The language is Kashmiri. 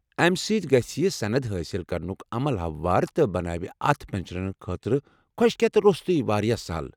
امہِ سۭتۍ گژھِ یہِ سند حٲصِل کرنُك عمل ہموار تہٕ بناوِ اتھ پٮ۪نچرن خٲطرٕ كھۄشكیتھ روٚستُے وارِیاہ سہل ۔